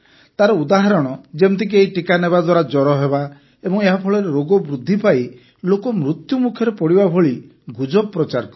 ତାର ଉଦାହରଣ ଯେମିତିକି ଏହି ଟିକା ନେବା ଦ୍ୱାରା ଜ୍ୱର ହେବା ଏବଂ ଏହାଫଳରେ ରୋଗ ବୃଦ୍ଧି ପାଇ ଲୋକ ମୃତ୍ୟୁମୁଖରେ ପଡ଼ିବା ଭଳି ଗୁଜବ ପ୍ରଚାର କଲେ